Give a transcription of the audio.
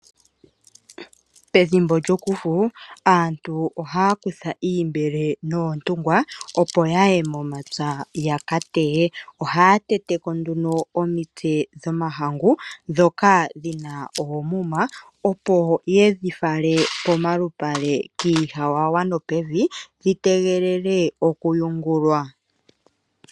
Ethimbo lyo kufu aantu ohaya kutha oombele noontungwa opp yaye momapya yaka teye. Ohaa teteko nduno omitse dhomahangu, ndhoka dhina oomuma opo yedhi fale pomalupale kiihawawa nopevi , dhi tegelele okuyungulwa.